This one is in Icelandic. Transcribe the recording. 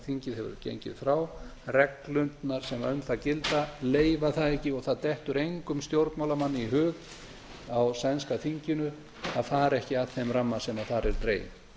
þingið hefur gengið frá reglurnar sem um það gilda leyfa það ekki og það dettur engum stjórnmálamanni í hug á sænska þinginu að fara ekki að þeim ramma sem þar er dreginn